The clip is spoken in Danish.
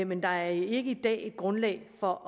men der er ikke i dag grundlag for